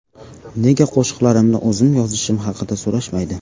Nega qo‘shiqlarimni o‘zim yozishim haqida so‘rashmaydi?